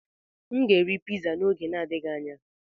M ga-eri piza n'oge na-adịghị anya.